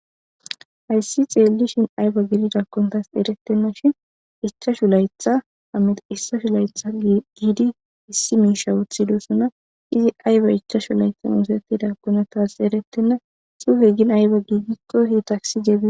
Issi tseellishe ayba gididakkone tawu eretteashin eta ichashu layththappe domidi, issi mishawu tsilidosoona. E ayba ichashu laytha oosettidakkone tasi erettenna .Tsuufe gin ayba gididakkon de'ees.